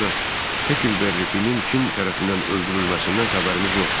ancaq Hekelbərrifinin kim tərəfindən öldürülməsindən xəbərimiz yoxdur.